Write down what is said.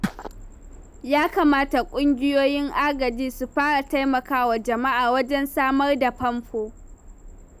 Ya kamata ƙungiyoyin agaji su fara taimaka wa jama'a wajen samar da famfo.